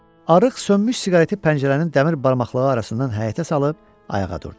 Arıq sönmüş siqareti pəncərənin dəmir barmaqlığı arasından həyətə salıb ayağa durdu.